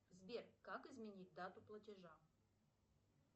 сбер как изменить дату платежа